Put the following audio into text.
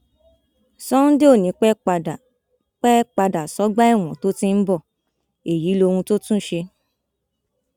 sunday ò ní í pẹ padà pẹ padà sọgbà ẹwọn tó ti ń bọ èyí lóhun tó tún ṣe